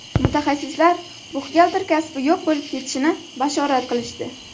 Mutaxassislar buxgalter kasbi yo‘q bo‘lib ketishini bashorat qilishdi.